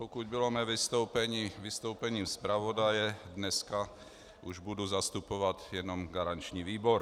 Pokud bylo mé vystoupení vystoupením zpravodaje, dneska už budu zastupovat jenom garanční výbor.